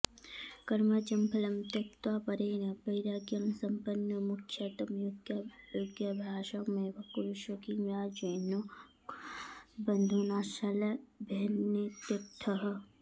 कर्मजं फलं त्यक्त्वा परेण वैराग्येण संपन्नो मोक्षार्थं योगाभ्यासमेव कुरुष्व किं राज्येन बन्धुनाशलभ्येनेत्यर्थः